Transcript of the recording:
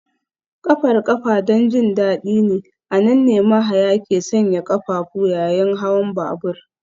Ƙafar ƙafa don jin daɗi ne, a nan ne mahaya ke sanya ƙafafu yayin hawan babur